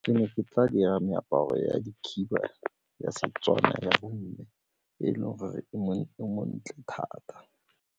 Ke ne ke tla dira meaparo ya dikhiba ya Setswana ya bomme e leng gore e montle thata.